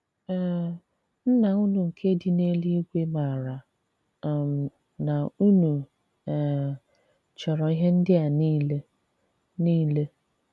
um Nnà unu nke dị n’èlùígwè màrà um nà unu um chọrọ̀ ihé ndị̀ a niile. niile.